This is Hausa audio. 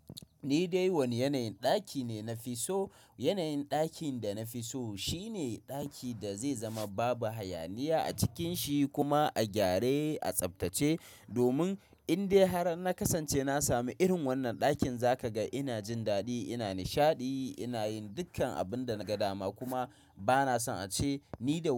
Ni dai wani yanayin ɗaki ne na fi so. Yanayin ɗakin da na fi so shine ɗaki da zai zama babu hayaniya a cikin shi kuma a gyare, a tsaftace domin in dai har na kasance na sami irin wannan ɗakin, za ka ga ina jin daɗi, ina nishaɗi, ina yin dukkan abin da na ga dama kuma ba na son a ce ni da wani.